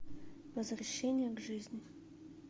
возвращение к жизни